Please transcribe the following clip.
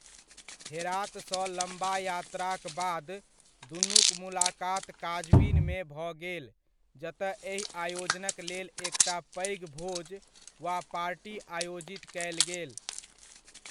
हेरात सँ लम्बा यात्राक बाद दुनुक मुलाकात काजविन मे भऽ गेल जतय एहि आयोजनक लेल एकटा पैघ भोज वा पार्टी आयोजित कयल गेल।